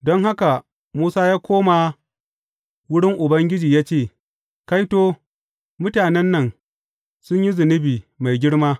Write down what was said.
Don haka Musa ya koma wurin Ubangiji ya ce, Kaito, mutanen nan sun yi zunubi mai girma!